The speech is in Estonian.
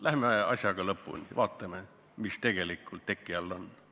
Läheme asjaga lõpuni ja vaatame, mis tegelikult teki all on!